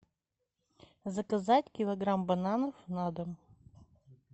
заказать килограмм бананов на дом